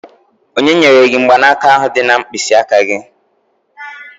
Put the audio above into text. Onye nyere gị mgbanaka ahụ na mkpịsị aka gị?